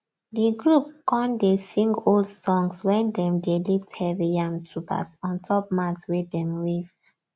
the group con dey sing old songs when dem dey lift heavy yam tubers ontop mat wey dem weave